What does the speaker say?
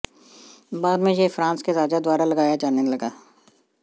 बाद में यह फ्रांस के राजा द्वारा लगाया जाने लगा